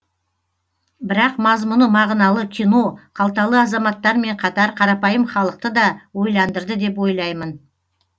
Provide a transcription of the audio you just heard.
бірақ мазмұны мағыналы кино қалталы азаматтармен қатар қарапайым халықты да ойландырды деп ойлаймын